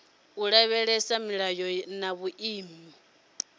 u lavhelesa milayo na vhuimo